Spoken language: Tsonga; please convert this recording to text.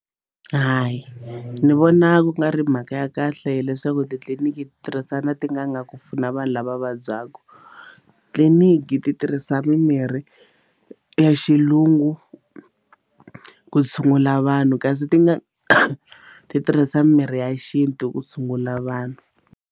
Hayi ni vona ku nga ri mhaka ya kahle leswaku titliliniki ti tirhisana na tin'anga ku pfuna vanhu lava vabyaka tliliniki ti tirhisa mimirhi ya xilungu ku tshungula vanhu kasi ti nga ti tirhisa mirhi ya xintu ku tshungula vanhu.